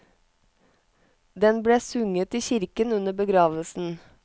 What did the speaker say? Den ble sunget i kirken under begravelsen.